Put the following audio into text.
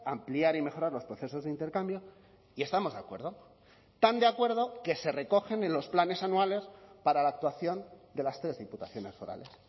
ampliar y mejorar los procesos de intercambio y estamos de acuerdo tan de acuerdo que se recogen en los planes anuales para la actuación de las tres diputaciones forales